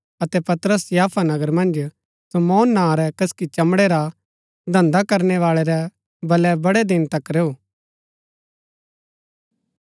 अतै पतरस याफा नगर मन्ज शमौन नां रै कसकि चमड़े रा धन्‍धा करनैवाळै रै बलै बड़ै दिन तक रैऊ